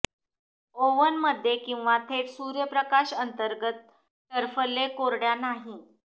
oven मध्ये किंवा थेट सूर्यप्रकाश अंतर्गत टरफले कोरड्या नाही